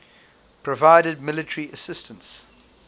provided military assistance